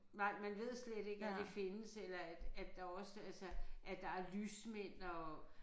Nej man ved slet ikke at det findes eller at at der også altså at der er lysmænd og